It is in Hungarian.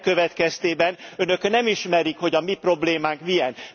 Ennek következtében Önök nem ismerik, hogy a mi problémánk milyen.